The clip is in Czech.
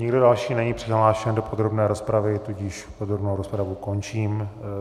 Nikdo další není přihlášen do podrobné rozpravy, tudíž podrobnou rozpravu končím.